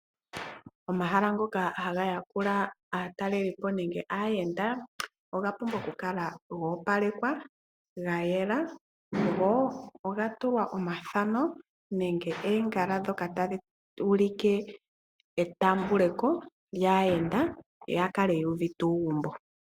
Omahala ngoka haga yakula aatalelipo nenge aayenda oga pumbwa okukala goopalekwa ga yela go oga tulwa omathano nenge oongala ndhoka tadhi ulike etaambeko lyaayenda ya kale yuuvite uugumbo.